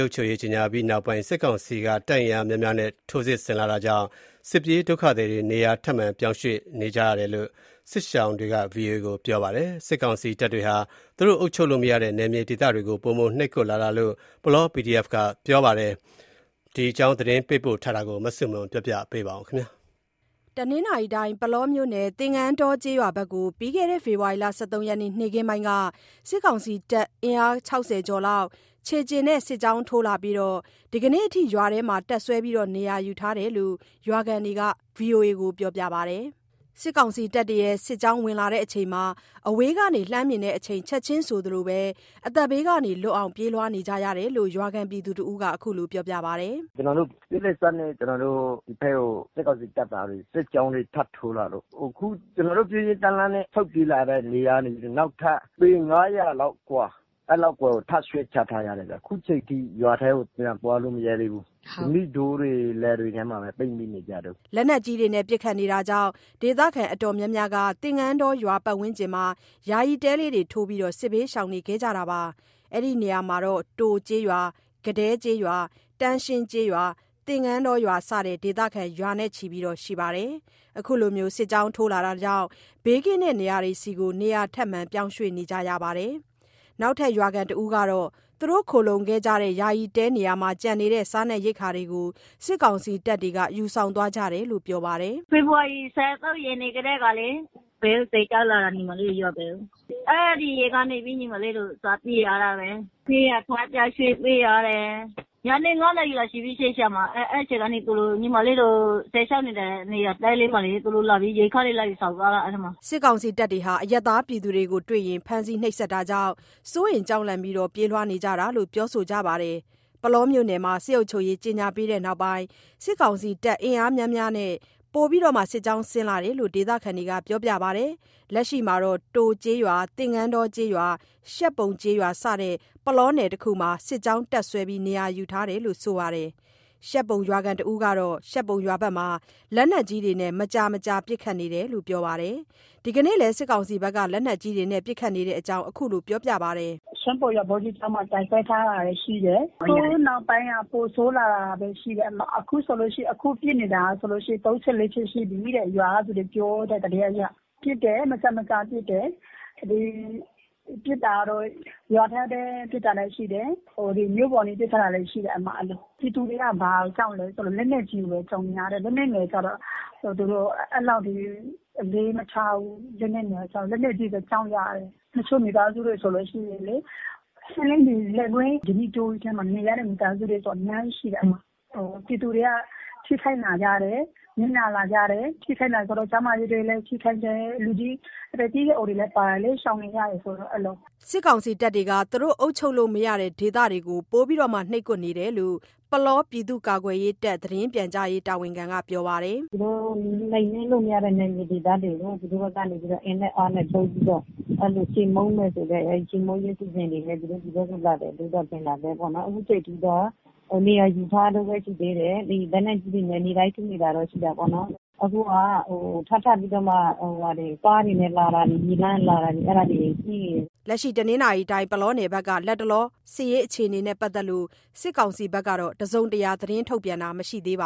ုပ်ချုပ်ရေး ကြေညာပြီးနောက်ပိုင်း စစ်ကောင်စီတပ် အင်အားများများနဲ့ စစ်ကြောင်းထိုးလာတာကြောင့် စစ်ပြေးဒုက္ခသည်တွေ နေရာထပ်မံ ပြောင်းရွှေ့ ပြေးကြရတယ်လို့ စစ်ရှောင်တွေက VOA ကို ပြောပါတယ်။ စစ်ကောင်စီတပ်တွေဟာ သူတို့ အုပ်ချုပ်လို့မရတဲ့ နယ်မြေဒေသတွေကို ပိုမိုနှိပ်ကွပ်လာတာလို့ ပုလော PDF က ပြောဆိုပါတယ်။ ဒီအကြောင်း သတင်းပေးပို့ထားတာကို မဆုမွန်က တင်ပြပေးပါမယ်။ ပုလောမြို့နယ် သင်္ကန်းတောကျေးရွာဖက်ကို ပြီးခဲ့တဲ့ ဖေဖော်ရီလ ၁၃ ရက်နေ့ နေ့ခင်းပိုင်းက စစ်ကောင်စီတပ်တွေ အင်အား ၆၀ ကျော်လောက် ခြေလျင်နဲ့ စစ်ကြောင်းထိုးလာပြီး ဒီနေ့အထိ ရွာထဲမှာ တပ်စွဲ နေရာယူထားတယ်လို့ ရွာခံတွေက VOA ကို ပြောပါတယ်။ စစ်ကြောင်းလာစဉ် အဝေးကနေ လှမ်းမြင်တဲ့အချိန် ချက်ချင်းဆိုသလို အသက်ဘေးလွတ်အောင် ပြေးလွှားကြတာလို့ ရွာခံတစ်ဦးက ခုလို ပြောပါတယ်။ “ကျနော်တို့ ပြေးလက်စနဲ့ ကျနော်တို့ ဒီဖက်ကို စစ်ကောင်စီတပ်သားတွေ စစ်ကြောင်းတွေထပ်ထိုးလာလို့ အခုကျနော်တို့ ပြေးရင်းတန်းလန်းနဲ့ ဆုတ်ပြေးလာတဲ့နေရာကနေ နောက်ထပ် ပေ ၅၀၀ လောက်အကွာ အဲ့လောက်အကွာကို ထပ်ရွှေ့ကြရတယ်ဗျာ အခုချိန်ထိ ရွာထဲကို ပြန်သွားလို့မရဲသေးဘူး၊ ဓနိတောတွေ လယ်တွေထဲမှာပဲ ပိတ်မိနေကြတုန်။း” လက်နက်ကြီးတွေ ပစ်ခတ်မှုကြောင့် ဒေသခံအတော်များများက သင်္ကန်းတောရွာ ပတ်ဝန်းကျင်တွေမှာ ယာယီတဲထိုးပြီး စစ်ဘေးရှောင်နေခဲ့ကြတာပါ။ အဲ့ဒီနေရာမှာ တိုကျေးရွာ၊ ကဒဲကျေးရွာ၊ တန်းရှင်းကျေးရွာ သင်္ကန်းတောရွာစတဲ့ ဒေသခံ ရာချီရှိပါတယ်။ အခုလို စစ်ကြောင်းထိုးလာတာကြောင့် ဘေးကင်းတဲ့နေရာတွေဆီ နေရာထပ်မံ ပြောင်းရွှေ့ ကြရတာပါ။နောက်ထပ်ရွာခံတစ်ဦးကတော့ သူတို့ ခိုလှုံခဲ့ကြတဲ့ ယာယီတဲနေရာမှာ ကျန်နေတဲ့ စားရိက္ခာတွေကို စစ်ကောင်စီတပ်တွေ ယူဆောင်သွားကြတယ်လို့ ပြောပါတယ်။ “ဖေဖော်ဝါရီ ၁၃ ရက်နေ့ကတည်းကလေ စစ်ကြောင်းလာတာ ညီမလေးတို့ ရွာဘက်ကို အဲ့ဒီရက်ကနေပြီး ညီမလေးတို့ စပြေးရတာပဲ၊ ပြေးရ ထပ်ရွှေ့ပြေးရတယ်။ ညနေ ၅နာရီလောက် ညီမလေး စစ်ရှောင်တဲ့ နေရာတဲလေမှာ သူတို့လာပြီး အဲ့ထဲမှာ ရိက္ခာတွေလာယူဆောင်သွားတာ။” စစ်ကောင်စီတပ်တွေဟာ အရပ်သားပြည်သူတွေကို တွေ့ရင် ဖမ်းဆီးနှိပ်စက်တာကြောင့် စိုးရိမ် ကြောက်လန့်ပြီး ပြေးနေရတာလို့ ပြောဆိုကြပါတယ်။ ပုလောမြို့နယ်မှာ စစ်အုပ်ချုပ်ရေး ကြေညာပြီးနောက်ပိုင်း စစ်ကောင်စီတပ် အင်အားများများနဲ့ ပိုမို စစ်ကြောင်းဆင်းလာတယ်လို့ ဒေသခံတွေက ပြောပါတယ်။ လက်ရှိမှာ တိုကျေးရွာ၊ သင်္ကန်းတောကျေးရွာ၊ ရှပ်ပုံကျေးရွာ စတဲ့ ပုလောနယ်တစ်ခုလုံးမှာ စစ်ကြောင်း တပ်စွဲနေရာယူထားတယ်လို့ ဆိုပါတယ်။ ရှပ်ပုံရွာခံတစ်ဦးကတော့ ရှပ်ပုံရွာဘက်မှာ လက်နက်ကြီးတွေနဲ့ မကြာမကြာပစ်ခတ်နေတယ်လို့ ပြောပါတယ်။ ဒီနေ့လည်း စစ်ကောင်စီက လက်နက်ကြီးပစ်ခတ်နေတဲ့အကြောင်း ခုလို ပြောပါတယ်။ “ရှပ်ပုံရွာ ဗော်ဓိကျောင်းမှာ တပ်စွဲထားတာတွေရှိတယ်။ အခုနောက်ပိုင်းက ပိုဆိုးလာတာပဲရှိတယ် အဲ့မှာ အခုပစ်နေတာဆိုလို့ရှိရင် ၃ချက် ၄ချက်ရှိပြီးတဲ့ ရွာကသူတွေ ပြောတဲ့သတင်းအရ။ ပစ်တယ် မကြာမကြာပစ်တယ် ဒီပစ်တာတော့ ရွာထဲ ပစ်တာလည်းရှိတယ် ဟို…မြို့ပေါ် ပစ်လာတာလည်းရှိတယ် အဲ့လို။ ပြည်သူတွေက ဘာကိုကြောက်လဲဆိုလို့ လက်နက်ကြီးကိုပဲ ကြောက်နေရတယ် လက်နက်ငယ်ကျတော့ အဲ့လောက်ထိ အလေမထားဘူး လက်နက်ငယ်ကျတော့ လက်နက်ကြီးပဲ ကြောက်ကြတယ်။ တချို့မိသားစုတွေ ဆိုလို့ရှိရင်လေ လယ်ကွင်း ဓနိတောကြီးထဲမှာ နေရတဲ့ မိသားစုတွေဆို အများကြီးရှိတယ် အဲ့မှာ ပြည်သူတွေက ထိခိုက် နစ်နာလာကြတယ် ထိခိုက်လာဆိုလို့ ကျန်းမာရေးဆိုလည်း ထိခိုက်တယ် အသက်ကြီးရွယ်အိုတွေလည်း ပါတယ်လေ ရှောင်နေရတယ်ဆိုတော့ အဲ့လို။” စစ်ကောင်စီတပ်တွေက သူတို့ အုပ်ချုပ်လို့မရတဲ့ဒေသတွေကို ပိုမို နှိပ်ကွပ်နေတာလို့ ပုလောပြည်သူ့ကာကွယ်ရေးတပ် သတင်းပြန်ကြားရေးက ပြောပါတယ်။ “သူတို့ နှိမ်နင်းလို့မရတဲ့ နယ်မြေဒေသတွေကို သူတို့ကနေပြီးတော့ အင်နဲ့အားနဲ့သုံးပြီးတော့ အဲ့လို ချေးမှုန်းမယ်ဆိုတဲ့ အဲ့ချေးမှုန်းခြင်းစီစဉ်တွေနဲ့ သူတို့လာတယ်လို့ပဲ ထင်တာပဲပေါ့နော်၊ အခုချိန်ထိတော့ နေရာယူထားတုန်းပဲရှိသေးတယ်၊ လက်နက်ကြီးတွေနဲ့ နေ့တိုင်း ပစ်နေတာတော့ ရှိတာပေါ့။ အခုက ထပ်ထပ်ပြီးတော့မှ ကားတွေနဲ့ လာတာ မြေလမ်းကတာတာ အဲ့ဒါတွေရှိနေတယ်။” ပုလောနယ်ဘက်က လတ်တလော စစ်ရေးအခြေအနေနဲ့ ပတ်သက်လို့ စစ်ကောင်စီဘက်က တစုံတရာ ထုတ်ပြန်တာမရှိသေးဘ